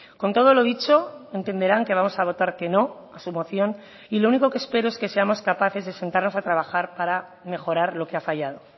con todo lo dicho entenderán que vamos a votar que no a su moción y lo único que espero es que seamos capaces de sentarnos a trabajar para mejorar lo que ha fallado